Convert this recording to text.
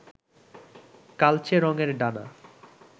কালচে রংয়ের ডানা